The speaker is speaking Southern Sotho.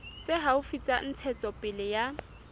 tse haufi tsa ntshetsopele ya